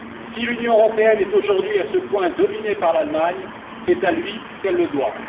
Si l'Union européenne est aujourd'hui à ce point dominée par l'Allemagne, c'est à lui qu'elle le doit.